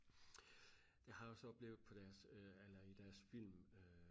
jeg har også oplevet på deres øh eller i deres film øh